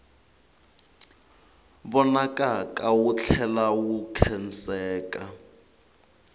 vonakaka wu tlhela wu khenseka